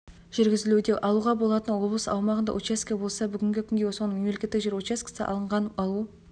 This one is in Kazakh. жүргізілуде алуға жататын облыс аумағындағы учаске болса бүгінгі күнге соның мемлекеттік жер учаскесі алынған алу